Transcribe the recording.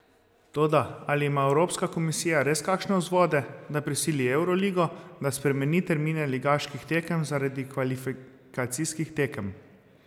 Toda ali ima Evropska komisija res kakšne vzvode, da prisili Evroligo, da spremeni termine ligaških tekem zaradi kvalifikacijskih tekem?